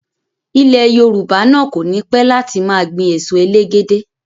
Ilẹ̀ Yorùbá náà kònípẹ́ láti máa gbìn èso elégédé